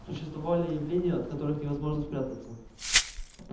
существовали явления от которых невозможно спрятаться